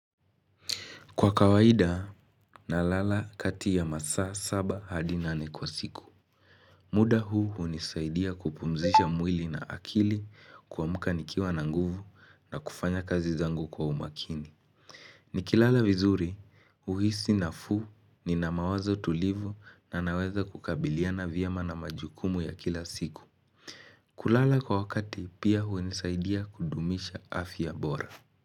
Kwa kawaida, nalala kati ya masaa saba hadi nane kwa siku. Muda huu hunisaidia kupumzisha mwili na akili kuamka nikiwa na nguvu na kufanya kazi zangu kwa umakini. Nikilala vizuri, huhisi nafuu nina mawazo tulivu na naweza kukabiliana vyema na majukumu ya kila siku. Kulala kwa wakati pia hunisaidia kudumisha afya bora.